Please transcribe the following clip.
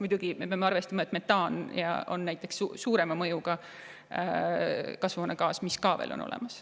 Muidugi, me peame arvestama, et näiteks metaan on suurema mõjuga kasvuhoonegaas, see on ka olemas.